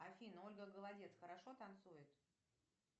афина ольга голодец хорошо танцует